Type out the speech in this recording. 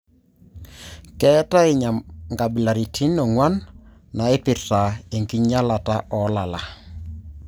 Ketae nkabilaritim onguan naipirta enkinyalata olala.